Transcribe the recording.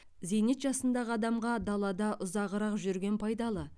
зейнет жасындағы адамға далада ұзағырақ жүрген пайдалы